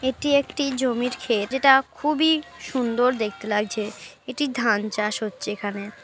এটা একটি জমির ক্ষেত। যেটা খুবই সুন্দর দেখতে লাগছে। এটি ধান চাষ হচ্ছে এখানে।